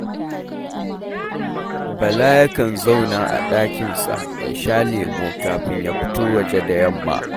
Bala yakan zauna a ɗakinsa ya sha lemo kafin ya fito waje da yamma